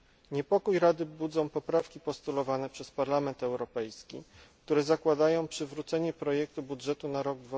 Niepokój Rady budzą poprawki postulowane przez Parlament Europejski, które zakładają przywrócenie projektu budżetu na rok